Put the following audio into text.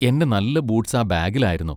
എന്റെ നല്ല ബൂട്സ് ആ ബാഗിൽ ആയിരുന്നു.